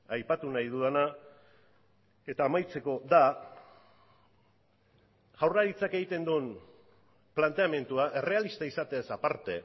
aipatu nahi dudana eta amaitzeko da jaurlaritzak egiten duen planteamendua errealista izateaz aparte